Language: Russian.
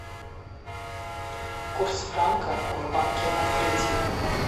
курс франка в банке открытие